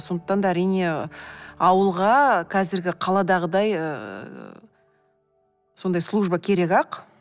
сондықтан да әрине ауылға қазіргі қаладағыдай ыыы сондай служба керек ақ